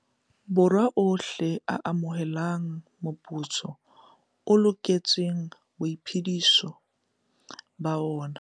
Borwa ohle a amohelang moputso o loketseng boiphediso ba ona.